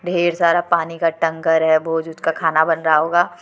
ढेर सारा पानी का टंकर है भोज वोज का खाना बन रहा होगा।